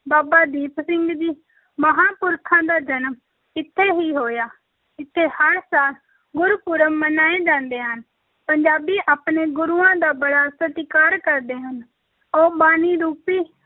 ਬਾਬਾ ਦੀਪ ਸਿੰਘ ਜੀ, ਮਹਾਪੁਰਖਾਂ ਦਾ ਜਨਮ ਇੱਥੇ ਹੀ ਹੋਇਆ, ਇੱਥੇ ਹਰ ਸਾਲ ਗੁਰਪੁਰਬ ਮਨਾਏ ਜਾਂਦੇ ਹਨ, ਪੰਜਾਬੀ ਆਪਣੇ ਗੁਰੂਆਂ ਦਾ ਬੜਾ ਸਤਿਕਾਰ ਕਰਦੇ ਹਨ, ਉਹ ਬਾਣੀ ਰੂਪੀ